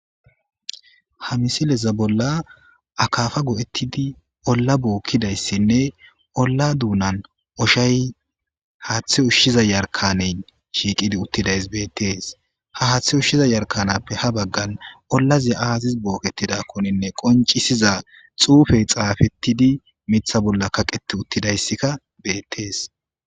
Ha misileza bolla akafa go7ettidi olla bookkidayssinne olla duunan oshay haaththe ushshiza yarkaneyn shiiqidi uttidays beettees ha haaththe ushshiza yarkanappe ha baggan ollaziy aazis bookkettidakkoninne qoncisiza xuufey xaafettidi mitha bolla kaqeti uttidayssikka beettees